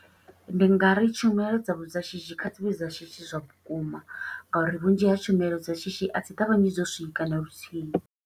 Ndi nga ri tshumelo dzavho dza shishi, kha dzi vhe dza shishi zwa vhukuma, nga uri vhunzhi ha tshumelo dza shishi a dzi ṱavhanyi dzo swika na luthihi.